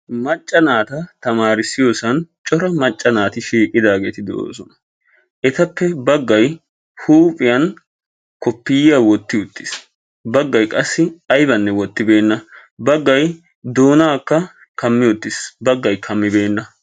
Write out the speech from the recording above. Macca naata tamaarissiyoosan cora macca naati shiiqidaageeti de'oosona. Etappe baggay huuphiyan koppiyaa wotti uttis baggay qassi aybanne wootibeenna baggay doonaakka kammi uttis. Baggay kammibbenna.